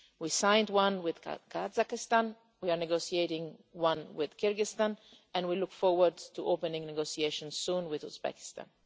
We signed one with Kazakhstan, we are negotiating one with Kyrgyzstan, and we look forward to opening negotiations soon with Uzbekistan.